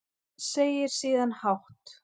Segir síðan hátt